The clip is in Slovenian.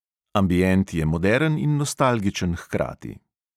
Ambient je moderen in nostalgičen hkrati.